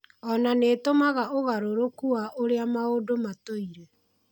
Ona nĩtumaga ũngarũrũku wa ũrĩa maũndũ matũire.